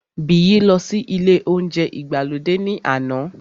Biyi lọ sí ilé óúnjẹ ìgbàlódé náà ní àná